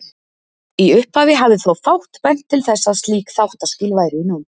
Í upphafi hafði þó fátt bent til þess að slík þáttaskil væru í nánd.